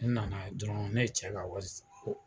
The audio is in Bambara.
Ne nana dɔrɔn ne ye cɛ ka wari ko